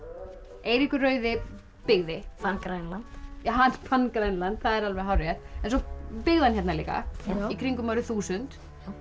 Eiríkur rauði byggði fann Grænland hann fann Grænland það er alveg hárrétt en svo byggði hann hérna líka í kringum árið þúsund